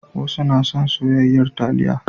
Wasu na son soyayyar taliya.